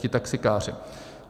Ti taxikáři.